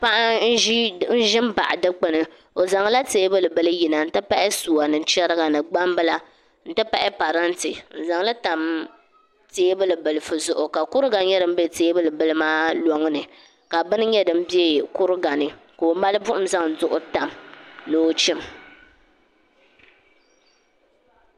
Paɣa n ʒi n baɣa dikpuni o zaŋla teebuli bili yina n ti pahi suwa ni chɛriga ni gbambila n ti pahi parantɛ n zaŋli tam teebuli bilifu zuɣu ka kuriga nyɛ din bɛ teebuli bili maa loŋni ka bini bɛ kuriga ni ka o mali buɣum zaŋ bini tam ni o chim